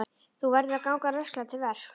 Þú verður að ganga rösklega til verks.